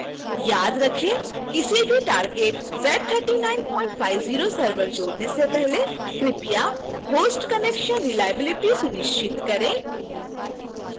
याद रखेंकिसी भी target z3950 server जोड़ने से पहले कृपया host connection reliability सुनिश्चित करें